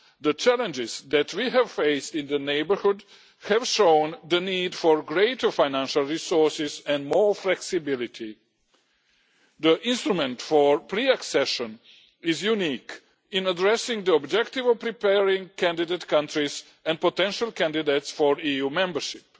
the challenges that we have faced in the neighbourhood have shown the need for greater financial resources and more flexibility. The Instrument for Pre Accession Assistance is unique in addressing the objective of preparing candidate countries and potential candidates for EU membership.